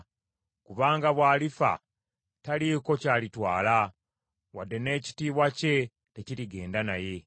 kubanga bw’alifa taliiko ky’alitwala, wadde n’ekitiibwa kye tekirigenda naye.